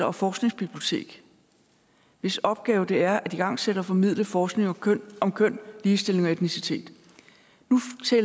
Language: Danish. og forskningsbibliotek hvis opgave det er at igangsætte og formidle forskning om køn om køn ligestilling og etnicitet